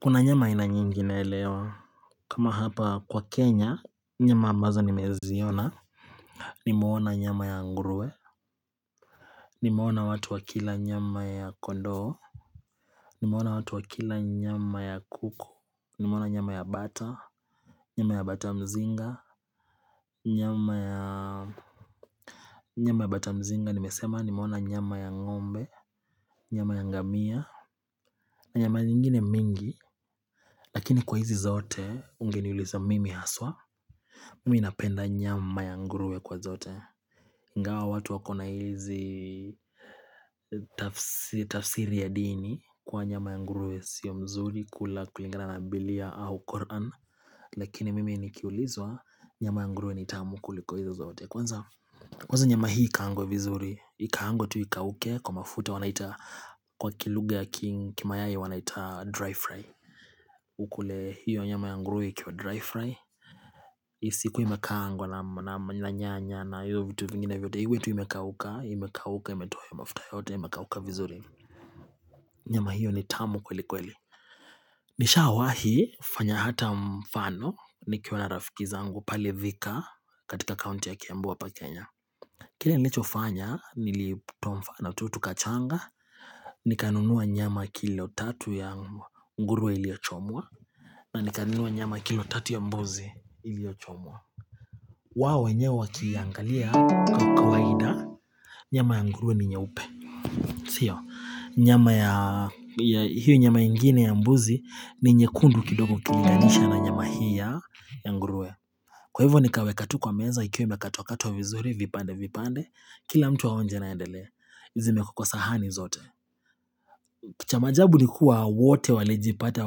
Kuna nyama ina nyingine elewa kama hapa kwa Kenya Nyama ambazo nimeziona Nimoona nyama ya nguruwe Nimoona watu wa kila nyama ya kondo Nimoona watu wa kila nyama ya kuku Nimoona nyama ya bata Nyama ya bata mzinga Nyama ya Nyama ya batamzinga nimesema nimoona nyama ya ngombe Nyama ya ngamia na nyama nyingine mingi Lakini kwa hizi zaote ungeniuliza mimi haswa ingawa watu wakona hizi tafsiri ya dini kwa nyama yanguruwe sio mzuri kula kulingana na bilia au koran lakini mimi nikiulizwa nyama ya nguruwe nitamu kuliko hizo zote kwanza Kwaza nyama hii ikangwe vizuri ikangwe tu ikauke kwa mafuta wanaita kwa kiluge ya kim kima yae wanaita dry fry ukule hiyo nyama yanguruwe kwa dry fry Isiku imakangwa na nyanya na hiyo vitu vingine vyote Hiwetu imekauka, imekauka, imetoha ya mafuta yote, imekauka vizuri Nyama hiyo ni tamu kweli kweli Nisha awahi fanya hata mfano nikiwa na rafiki zangu pali vika katika kaunti ya kembua pa Kenya Kile nilicho fanya niliputumfana tutu kachanga Nikanunuwa nyama kilo tatu ya nguruwe iliochomwa na nikanunuwa nyama kilo tatu ya mbozi iliochomwa wao nye wakiliangalia kwa kwaida nyama ya ngurue ni nye upe Sio, nyama ya hiyo nyama ingine ya mbuzi ni nye kundu kidogo kiliganisha na nyama hiyo ya ngurue Kwa hivyo nikawe katu kwa meza ikiwe mba katu wakatu wa vizuri vipande vipande Kila mtu waonje naendelea, hizi me kukwa sahani zote cha maajabu ni kuwa wote walejipate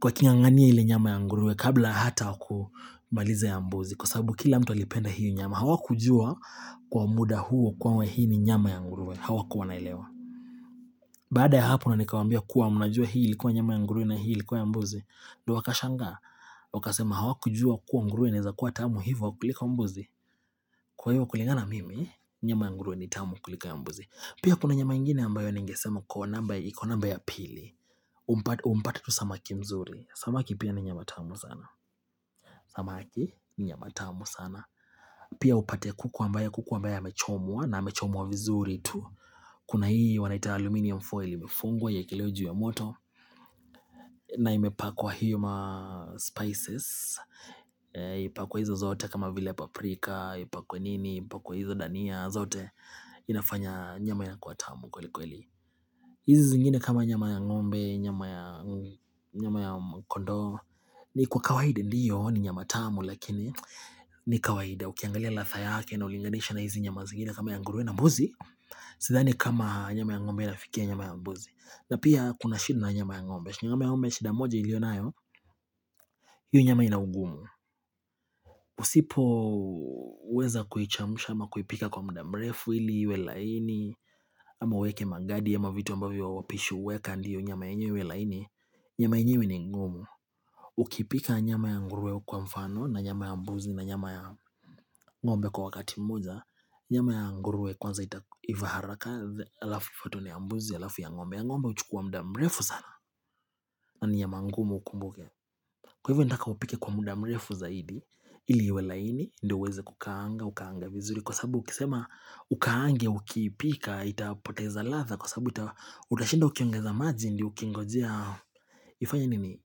wakilianganie hili nyama ya ngurue kabla hata kumalize ya mbuzi Kwa sababu kila mtu alipenda hiyo nyama, hawa kujua kwa muda huo kwa mwe hii ni nyama ya ngurue, hawa kuwanailewa Baada ya hapuna nikawambia kuwa mnajua hii likuwa nyama ya ngurue na hii likuwa ya mbuzi Do wakashanga, wakasema hawa kujua kuwa ngurue ni za kuwa tamu hivu wakulika mbuzi Kwa hivu wakulingana mimi, nyama ya nguruwe ni tamu kulika ya mbuzi Pia kuna nyama ingine ambayo ningesema kwa namba ya pili Umpate tu samaki mzuri, samaki pia ni nyama tamu sana Samaki ni nyama tamu sana Pia upate kukuwa mbaya kukuwa mbaya hamechomwa na hamechomwa vizuri tu Kuna hii wanaita aluminium foil imefungwa ya iekelewa ya moto na imepakwa hiyo maspices ipakwa hizo zote kama vile paprika, ipakwa nini, ipakwa hizo dania zote inafanya nyama ya kuatamu kweli kweli hizi zingine kama nyama ya ngombe, nyama ya kondo ni kwa kawaida ndiyo ni nyama tamu lakini ni kawaida, ukiangalia ladha yake na ulinganisha na hizi nyama zikida kama ya ngurwe na mbuzi sidhani kama nyama ya ng'ombe ilafikia nyama ya mbuzi na pia kuna shida na nyama ya ngombe nyama ya ngombe shida moja ilionayo yu nyama inaugumu usipoweza kuhichamusha ama kuhipika kwa muda mrefu ili wela ini ama weke magadi ama vitu ambavo wa wapishu weka ndiyo nyama inye wela ini nyama inye wini ngumu ukipika nyama ya nguruwe kwa mfano na nyama ya mbuzi na nyama ya ng'ombe Kwa wakati mmoja, nyama ya nguruwe kwanza itaiva haraka alafu fatutwe ya mbuzi, alafu ya ng'ombe, ya ng'ombee uchukua muda mrefu sana na ni ya mangumu ukumbuke Kwa hivyo nitaka upike kwa mda mrefu zaidi ili iwe laini, ndo uweze kukaanga, ukaanga vizuri Kwa sababu ukisema ukaange, ukipika, itapoteza latha Kwa sababu utashida ukiongeza maji ndi ukingojia Yifanya nini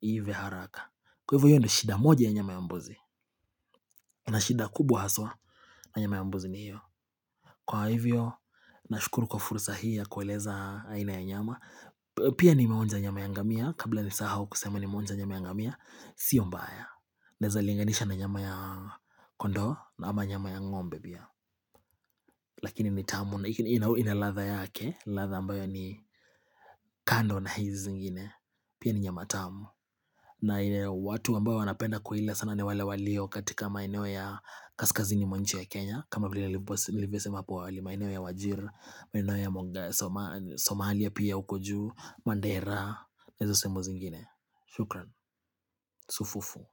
hivya haraka Kwa hivyo ndo shida moja ya nyama ya mbozi na shida kubwa haswa na nyama ya mbozi ni hiyo Kwa hivyo, na shukuru kwa fursa hii ya kueleza aina ya nyama Pia nimeonja nyama ya ngamia, kabla ni sahau kusema ni meonja nyama ya ngamia Sio mbaya, neza linganisha na nyama ya kondo na ama nyama ya ngombe bia Lakini ni tamu, ina ladha yake, ladha ambayo ni kando na hizi zingine pia ni nyama tamu na ina watu ambayo wanapenda kuhila sana ni wale walio katika maineo ya kaskazini mwa nchi ya Kenya kama vile nilivesema hapa wali, mainewe ya wajir, mainewe ya monga, somalia piya ukoju, mandera, nezo semo zingine. Shukran, sufufu.